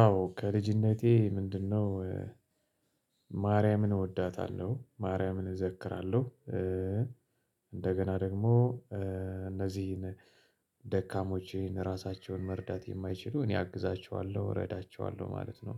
አዎ ከልጅነቴ ምንድነው? ማርያምን እወዳታለሁ፤ ማርያምን እዘክራለሁ። እንደገና ደግሞ እነዚህን ደካሞቼን ራሳቸውን መርዳት የማይችሉ እኔ አግዛቸዋለሁ እረዳቸዋለሁ ማለት ነው።